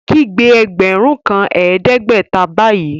Kígbe ẹgbẹ́run kan ẹdẹgbẹ̀tà báyì!